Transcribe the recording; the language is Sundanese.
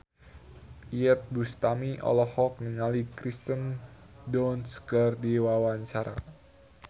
Iyeth Bustami olohok ningali Kirsten Dunst keur diwawancara